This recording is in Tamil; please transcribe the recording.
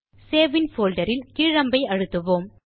சேவ் இன் போல்டர் இல் கீழ் அம்பை அழுத்துவோம்